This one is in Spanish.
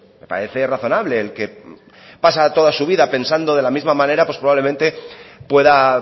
me parece razonable el que pasa toda su vida pensando de la misma manera pues probablemente pueda